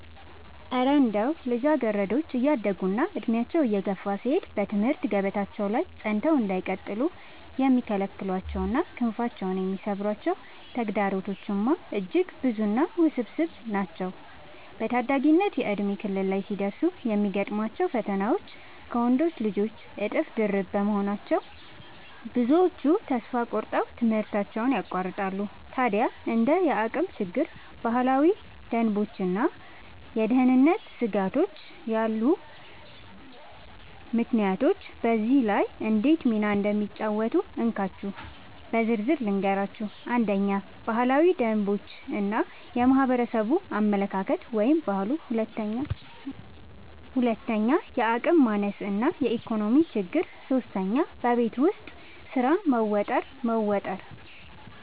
እረ እንደው ልጃገረዶች እያደጉና ዕድሜያቸው እየገፋ ሲሄድ በትምህርት ገበታቸው ላይ ጸንተው እንዳይቀጥሉ የሚከለክሏቸውና ክንፋቸውን የሚሰብሯቸው ተግዳሮቶችማ እጅግ ብዙና ውስብስብ ናቸው! በታዳጊነት የእድሜ ክልል ላይ ሲደርሱ የሚገጥሟቸው ፈተናዎች ከወንዶች ልጆች እጥፍ ድርብ በመሆናቸው፣ ብዙዎቹ ተስፋ ቆርጠው ትምህርታቸውን ያቋርጣሉ። ታዲያ እንደ የአቅም ችግር፣ ባህላዊ ደንቦችና የደህንነት ስጋቶች ያሉ ምክንያቶች በዚህ ላይ እንዴት ሚና እንደሚጫወቱ እንካችሁ በዝርዝር ልንገራችሁ፦ 1. ባህላዊ ደንቦች እና የማህበረሰብ አመለካከት (ባህሉ) 2. የአቅም ማነስ እና የኢኮኖሚ ችግር 3. በቤት ውስጥ ስራ መወጠር መወጠር